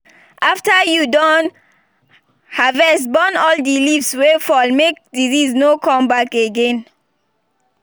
after you don harvest burn all the leaves wey fall make disease no come back again